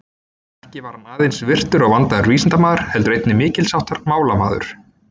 Ekki var hann aðeins virtur og vandaður vísindamaður, heldur einnig mikils háttar málamaður.